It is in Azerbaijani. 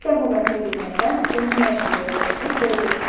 Sən bu mətni dinləsən, bunun nə üçün belə olduğunu biləcəksən.